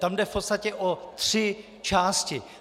Tam jde v podstatě o tři části.